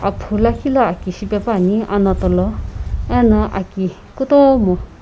aphu lakhi lo aki shipae pani anato lo ano aki kutomo.